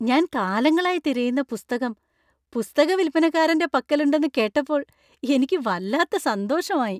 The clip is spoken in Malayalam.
ഞാൻ കാലങ്ങളായി തിരയുന്ന പുസ്തകം പുസ്തക വിൽപ്പനക്കാരന്‍റെ പക്കലുണ്ടെന്ന് കേട്ടപ്പോൾ എനിക്ക് വല്ലാത്ത സന്തോഷമായി .